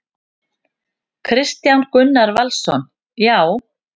Kristján Gunnar Valsson: Já.